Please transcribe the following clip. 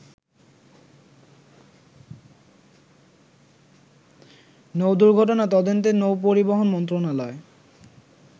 নৌদুর্ঘটনা তদন্তে নৌ-পরিবহন মন্ত্রণালয়